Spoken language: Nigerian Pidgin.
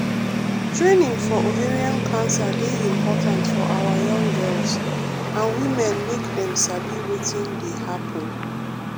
training for ovarian cancer dey important for awa young girls and women make dem sabi wetin dey happun.